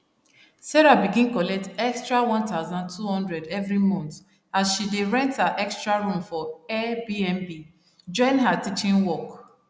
sarah begin collect extra 1200 every month as she dey rent her extra room for airbnb join her teaching work